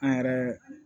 An yɛrɛ